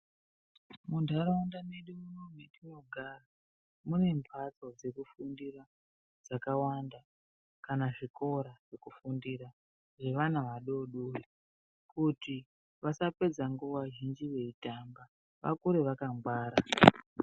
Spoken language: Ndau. Munharaunda mweduu mwatinogara mune mhatso dzekufundira dzakawanda kana zvikora zvekufundira zveana adodori kuti vasapedza nguwa zhinji veitamba vakure vakangwara.